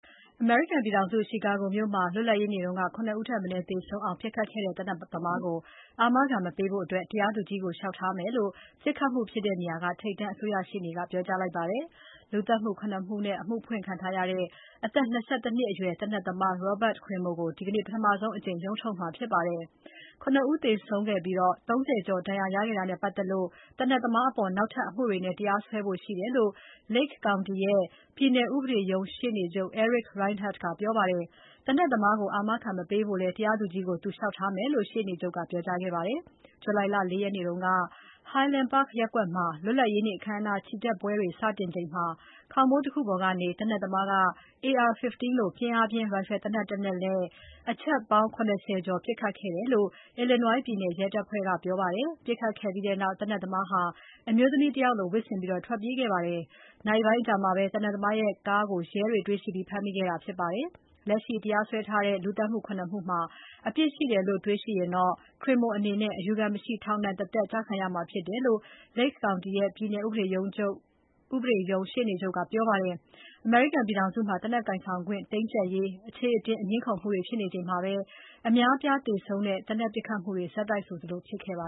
အမေရိကန်ပြည်ထောင်စု Chicago မြို့မှာ လွတ်လပ်ရေးနေ့က ၇ ဦးထက်မနည်းသေဆုံးအောင် ပစ်ခတ်ခဲ့တဲ့ သေနတ်သမားကို အာမခံ မပေးဖို့ တရားသူကြီးကို လျှောက်ထားမယ်လု့ိ ပစ်ခတ်မှုဖြစ်တဲ့နေရာက ထိပ်တန်းအစိုးရရှေ့နေက ပြောပါတယ်။ လူသတ်မှု ၇ မှုနဲ့ အမှုဖွင့်ထားတဲ့ အသက် ၂၁ နှစ်အရွယ် သေနတ်သမား Robert Crimo ကို ဒီနေ့ ပထမဆုံးအကြိမ် ရုံးထုတ်မှာဖြစ်ပါတယ်။ ၇ ဦးသေဆုံးပြီး ၃၀ ကျော် ဒဏ်ရာရခဲ့တာနဲ့ပါတ်သက်လို့ သေနတ်သမားအပေါ် နောက်ထပ် အမှုတွေနဲ့ တရားစွဲဖို့ရှိတယ်လို့ Lake County ရဲ့ ပြည်နယ်ဥပဒေရုံး ရှေ့နေချုပ် Eric Rinehart ကပြောပါတယ်။ သေနတ်သမားကို အာမခံမပေးဖို့လည်း တရားသူကြီးကို သူလျှောက်ထားမယ်လို့ ရှေ့နေချုပ် Eric Rinehart ကပြောကြားခဲ့ပါတယ်။ July ၄ ရက်နေ့က Highland Park ရပ်ကွက်မှာ လွတ်လပ်ရေးနေ့ အခမ်းအနား ချီတက်ပွဲတွေ စတင်ချိန်မှာ ခေါင်မိုးတခုပေါ်ကနေ သေနတ်သမားက AR-15 လို ပစ်အားပြင်း ရိုင်ဖယ်သေနတ် ၁ လက်နဲ့ အချက် ၇၀ ကျော်ပစ်ခတ်ခဲ့တယ်လို့ Illinois ပြည်နယ် ရဲတပ်ဖွဲ့ကပြောပါတယ်။ ပစ်ခတ်ခဲ့ပြီးနောက် သေနတ်သမားဟာ အမျိုးသမီးတဦးလို ဝတ်ဆင်ပြီး ထွက်ပြေးခဲ့ပါတယ်။ နာရီပိုင်းအကြာမှာပဲ သေနတ်သမားရဲ့ကားကို ရဲတွေ တွေ့ရှိပြီး ဖမ်းမိခဲ့တာဖြစ်ပါတယ်။ လက်ရှိတရားစွဲထားတဲ့ လူသတ်မှု ၇ မှုမှာ အပြစ်ရှိတယ်လို့ တွေ့ရှိရင် Crimo အနေနဲ့ အယူခံမရှိ ထောင်ဒဏ် တသက် ကျခံရမှာဖြစ်တယ်လို့ Lake County ရဲ့ ပြည်နယ်ဥပဒေရုံး ရှေ့နေချုပ်က ပြောပါတယ်။ အမေရိကန်ပြည်ထောင်စုမှာ သေနတ်ကိုင်ဆောင်ခွင့် တင်းကြပ်ရေး အခြေအတင် ငြင်းခုံမှုတွေ ဖြစ်နေချိန်မှာပဲ အများအပြားသေဆုံးတဲ့ သေနတ်ပစ်ခတ်မှုတွေ ဆက်တိုက်ဆိုသလို ဖြစ်ခဲ့ပါ